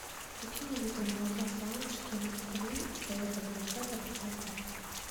купи мне литр молока савушкин три целых одна десятая процента